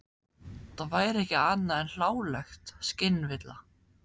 Það væri ekki annað en hláleg skynvilla.